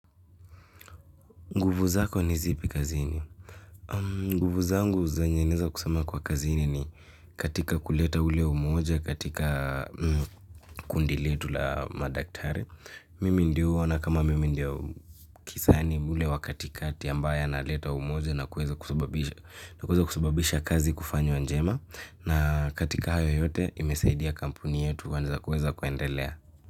Nguvu zako ni zipi kazini? Nguvu zangu zenye naeza kusema kwa kazini ni katika kuleta ule umoja katika kundi letu la madaktari. Mimi ndio huwa na ama mimi ndio kisani ule wa katikati ambaye analeta umoja na kuweza kusababisha kazi kufanywa njema. Na katika hayo yote imesaidia kampuni yetu kwanza kuweza kuendelea.